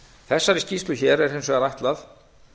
þessari skýrslu hér er hins vegar ætlað